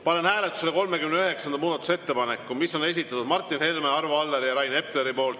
Panen hääletusele 39. muudatusettepaneku, mille on esitanud Martin Helme, Arvo Aller ja Rain Epler.